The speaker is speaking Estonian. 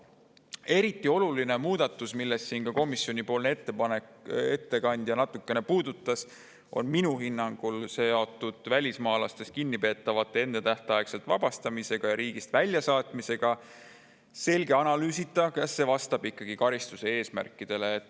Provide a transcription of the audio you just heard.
Eriti oluline muudatus, mida siin ka komisjonipoolne ettekandja natukene puudutas, on minu hinnangul seotud välismaalastest kinnipeetavate ennetähtaegse vabastamisega ja riigist väljasaatmisega selge analüüsita, kas see vastab ikkagi karistuse eesmärkidele.